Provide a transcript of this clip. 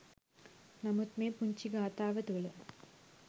නමුත් මේ පුංචි ගාථාව තුළ